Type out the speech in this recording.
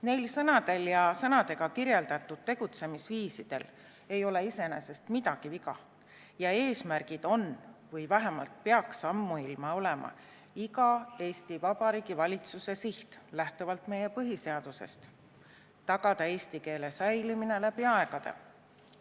Neil sõnadel ja sõnadega kirjeldatud tegutsemisviisidel ei ole iseenesest midagi viga ja need eesmärgid on või vähemalt peaksid ammuilma olema iga Eesti Vabariigi valitsuse siht lähtuvalt meie põhiseadusest, mille järgi tuleb tagada eesti keele säilimine läbi aegade.